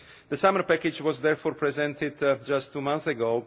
The summer package was therefore presented just two months